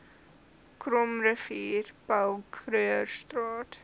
krommerivier paul krugerstraat